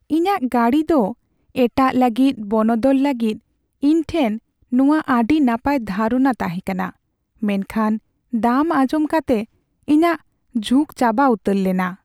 ᱤᱧᱟᱹᱜ ᱜᱟᱹᱰᱤ ᱫᱚ ᱮᱟᱴᱟᱜ ᱞᱟᱹᱜᱤᱫ ᱵᱚᱱᱚᱫᱚᱞ ᱞᱟᱹᱜᱤᱫ ᱤᱧ ᱴᱷᱮᱱ ᱱᱚᱶᱟ ᱟᱹᱰᱤ ᱱᱟᱯᱟᱭ ᱫᱷᱟᱨᱚᱱᱟ ᱛᱟᱦᱮᱸ ᱠᱟᱱᱟ, ᱢᱮᱱᱠᱷᱟᱱ ᱫᱟᱢ ᱟᱸᱡᱚᱢ ᱠᱟᱛᱮ, ᱤᱧᱟᱹᱜ ᱡᱷᱩᱠ ᱪᱟᱵᱟ ᱩᱛᱟᱹᱨ ᱞᱮᱱᱟ ᱾